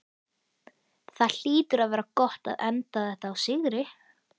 Það hlýtur að vera gott að enda þetta á sigri?